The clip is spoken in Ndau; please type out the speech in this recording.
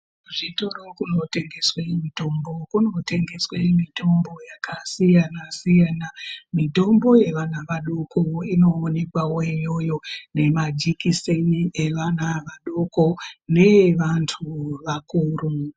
Kuzvitoro kunotengeswe mitombo, kunotengeswe mitombo yakasiyana-siyana, mitombo yevana vadoko inoonekwavo iyoyo nemajikiseni evana vadoko neevantu vakuru.